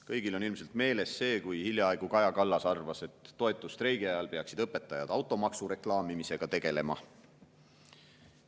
Kõigil on ilmselt meeles see, kui Kaja Kallas hiljaaegu arvas, et toetusstreigi ajal peaksid õpetajad automaksu reklaamimisega tegelema.